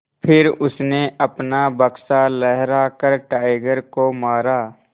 फिर उसने अपना बक्सा लहरा कर टाइगर को मारा